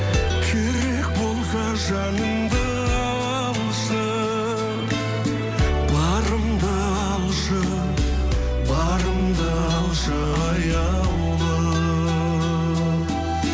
керек болса жанымды алшы барымды алшы барымды алшы аяулым